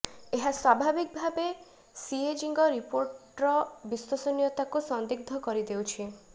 ଏହା ସ୍ୱାଭାବିକ ଭାବେ ସିଏଜିଙ୍କ ରିପୋର୍ଟର ବିଶ୍ୱସନିୟତାକୁ ସନ୍ଦିଗ୍ଧ କରି ଦେଉଛି